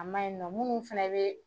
A ma ɲi nɔ minnu fɛnɛ bɛ